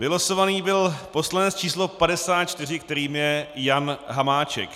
Vylosován byl poslanec číslo 54, kterým je Jan Hamáček.